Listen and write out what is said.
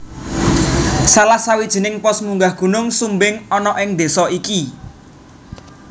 Salah sawijining pos munggah Gunung Sumbing ana ing désa iki